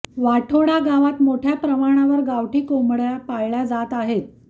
वाठोडा गावात मोठ्या प्रमाणावर गावठी कोंबड्या पाळल्या जात आहेत